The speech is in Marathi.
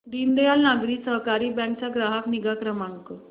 दीनदयाल नागरी सहकारी बँक चा ग्राहक निगा क्रमांक